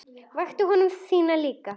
Vakti ég konu þína líka?